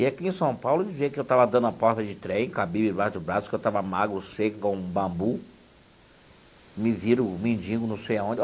E aqui em São Paulo, dizia que eu estava dando a porta de trem, cabia debaixo do braço, que eu estava magro, seco, igual a um bambu, me viram um mendigo não sei aonde.